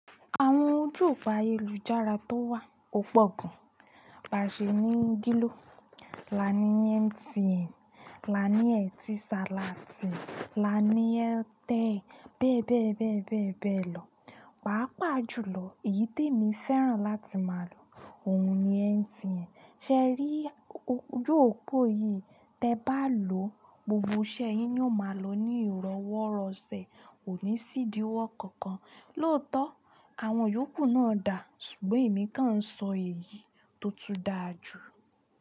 Àwọn ojú opo ayélujára to wa o po gan ba ṣe ní Gilo, la ní MTN, la ní Etisalat, la ní Airtel bẹ́ẹ̀ bẹ́ẹ̀ bẹ́ẹ̀ bẹ́ẹ̀ bẹ́ẹ̀ lọ. Paápà jùlọ èyí tí èmi fẹ́ràn láti máa lò òun ni MTN. Ṣé rí ojú òpó yìí? Tẹ bá lò ó, gbogbo iṣẹ́ yín ni ò máa lọ ní ìrọwọ́rọṣẹ̀, kò ní sìdíwọ́ kankan. Lóòótọ́, àwọn yòókù náà dà, ṣùgbọ́n èmi kan ń sọ èyí tó tún dáa jù.